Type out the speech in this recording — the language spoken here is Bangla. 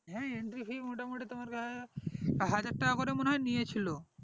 হ্যাঁ entry fee মোটামোটি তোমার কাছে হাজার টাকা করে মনে হয় নিয়েছিল